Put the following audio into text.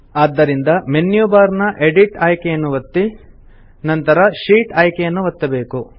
ಆದ್ದರಿಂದ menu bar ನ edit ಆಯ್ಕೆಯನ್ನು ಒತ್ತಿ ನಂತರ ಶೀಟ್ ಆಯ್ಕೆಯನ್ನು ಒತ್ತಬೇಕು